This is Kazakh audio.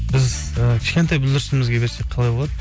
біз і кішкентай бүлдіршінімізге берсек қалай болады